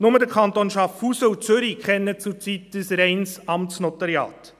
Nur die Kantone Schaffhausen und Zürich kennen zurzeit ein reines Amtsnotariat.